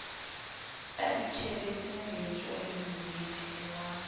a itjhebetse mejo lemmethe wa